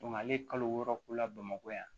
ale ye kalo wɔɔrɔ k'u la bamakɔ yan